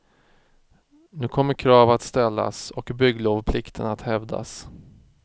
Nu kommer krav att ställas och bygglovplikten att hävdas.